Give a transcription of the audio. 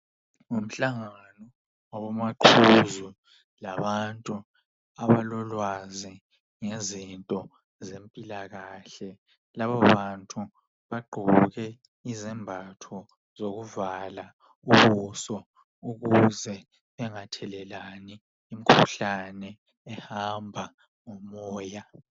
Ngumhlangano wabomaqhuzu labantu abalolwazi ngezinto zempilakahle. Labobantu bagqoke izembatho zokuvala ubuso, ukuze bangathelelani imikhuhlane ehamba lomoya.